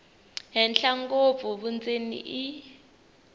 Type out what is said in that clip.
henhla ngopfu vundzeni i